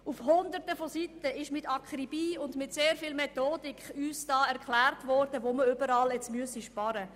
Auf Hunderten von Seiten ist uns mit Akribie und sehr viel Methodik erklärt worden, wo wir überall sparen sollten.